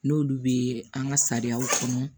N'olu bɛ an ka sariyaw kɔnɔ